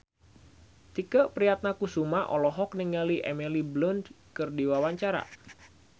Tike Priatnakusuma olohok ningali Emily Blunt keur diwawancara